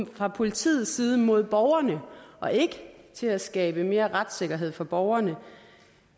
fra politiets side mod borgerne og ikke til at skabe mere retssikkerhed for borgerne